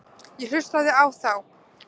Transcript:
Ég hlustaði á þá.